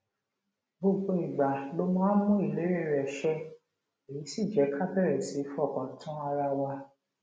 gbogbo ìgbà ló máa ń mú ìlérí rè ṣẹ èyí sì jé ká bèrè sí fọkàn tán ara wa